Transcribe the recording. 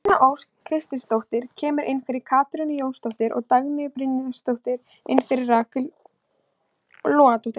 Nína Ósk Kristinsdóttir kemur inn fyrir Katrínu Jónsdóttur og Dagný Brynjarsdóttir inn fyrir Rakel Logadóttur.